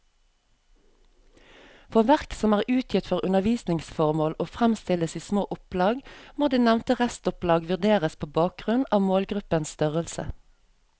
For verk som er utgitt for undervisningsformål og fremstilles i små opplag, må det nevnte restopplag vurderes på bakgrunn av målgruppens størrelse.